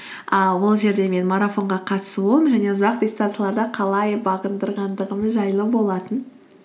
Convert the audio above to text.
ыыы ол жерде менің марафонға қатысуым және ұзақ дистанцияларды қалай бағындырғандығым жайлы болатын